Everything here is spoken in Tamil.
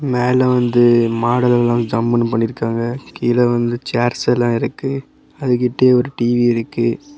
மேல வந்து மாடல் எல்லா ஜம்முனு பண்ணிருக்காங்க. கீழ வந்து சேர்ஸ் எல்லா இருக்கு. அது கிட்ட ஒரு டி_வி இருக்கு.